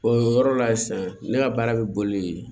o yɔrɔ la sisan ne ka baara bɛ boli